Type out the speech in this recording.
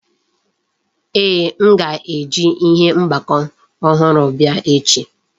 Ee, m ga-eji ihe mgbakọ ọhụrụ bịa echi